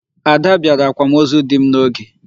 Ada bịara akwamozu dị m n'oge.